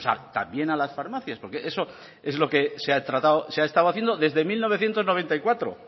pues también a las farmacias porque eso es lo que se ha estado haciendo desde mil novecientos noventa y cuatro